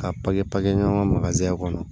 K'a papiye papiye ɲɔgɔn kɔnɔ